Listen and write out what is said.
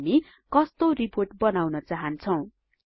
हामी कस्तो रिपोर्ट बनाउन चाहन्छौँ